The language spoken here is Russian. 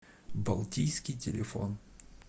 балтийский телефон